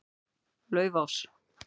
Laufás